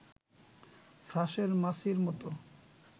ফ্রাঁসের মাছির মতো